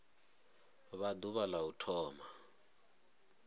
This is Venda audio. vha ḓuvha la u thoma